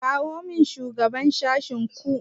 kirawo min shugaban sashenku.